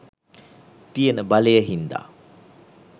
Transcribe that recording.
තියෙන බලය හින්දා